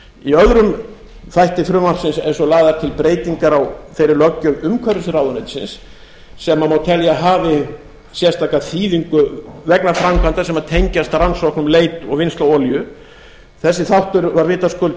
í öðrum þætti frumvarpsins eru svo lagðar til breytingar á þeirri löggjöf umhverfisráðuneytisins sem má telja að hafi sérstaka þýðingu vegna framkvæmda sem tengjast rannsóknum leit og vinnslu á olíu þessi þáttur var vitaskuld